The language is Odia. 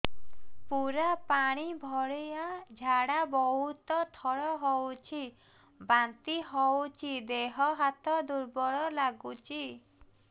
ପୁରା ପାଣି ଭଳିଆ ଝାଡା ବହୁତ ଥର ହଉଛି ବାନ୍ତି ହଉଚି ଦେହ ହାତ ଦୁର୍ବଳ ଲାଗୁଚି